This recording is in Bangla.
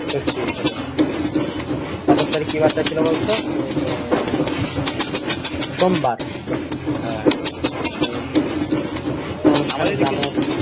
হলো তারিখ কি বারটা ছিল বলতো তোর আহ সোমবার